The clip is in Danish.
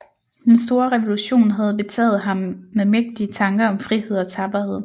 Den store revolution havde betaget ham med mægtige tanker om frihed og tapperhed